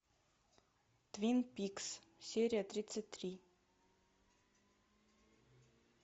твин пикс серия тридцать три